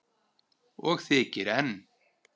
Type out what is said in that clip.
Og þykir enn.